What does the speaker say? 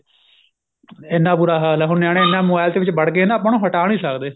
ਇੰਨਾ ਬੁਰਾ ਹਾਲ ਏ ਹੁਣ ਨਿਆਣੇ ਇੰਨਾ mobile ਦੇ ਵਿਚ ਵੜ ਗਏ ਆਪਾਂ ਉਹਨਾ ਹਟਾ ਨੀ ਸਕਦੇ